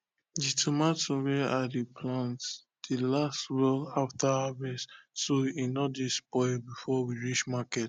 the tomato wey i dey plant dey last well after harvest so e no dey spoil before we reach market